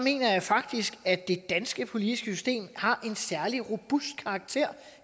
faktisk at det danske politiske system har en særlig robust karakter